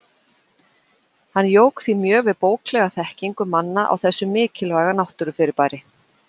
Hann jók því mjög við bóklega þekkingu manna á þessu mikilvæga náttúrufyrirbæri.